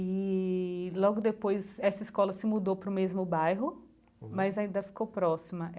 e logo depois essa escola se mudou para o mesmo bairro, mas ainda ficou próxima.